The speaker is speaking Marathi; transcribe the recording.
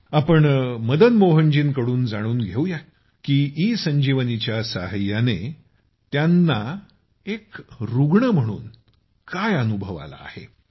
या आपण मदनमोहनजींकडून जाणून घेऊ या की इ संजीवनीच्या सहाय्याने त्यांचा एक रूग्ण म्हणून काय अनुभव आला आहे